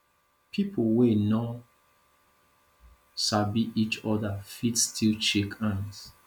pipo wey no sabi each oda fit still shake hands